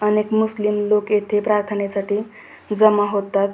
अनेक मुस्लीम लोक येथे प्रार्थने साठी जमा होतात.